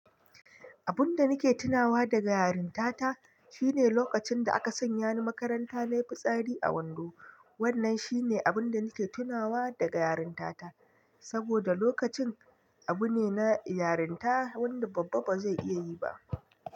Abun da nake tunawa daga yarinta ta shine lokacin da aka sanya ni makaranta nai fitsari a wando. Wannan shine abun da nake tunawa daga yarinta ta, saboda lokacin abu ne na yarinta wanda babba ba zai iya yi ba.